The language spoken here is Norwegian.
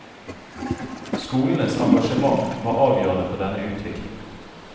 Skolenes engasjement var avgjørende for denne utvikling.